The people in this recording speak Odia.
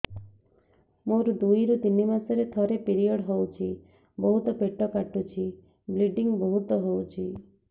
ମୋର ଦୁଇରୁ ତିନି ମାସରେ ଥରେ ପିରିଅଡ଼ ହଉଛି ବହୁତ ପେଟ କାଟୁଛି ବ୍ଲିଡ଼ିଙ୍ଗ ବହୁତ ହଉଛି